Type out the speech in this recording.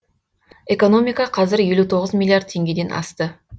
экономика қазір елу тоғыз миллиард теңгеден асты